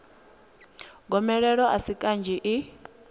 gomelelo a si kanzhi i